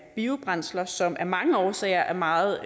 biobrændsler som af mange årsager er meget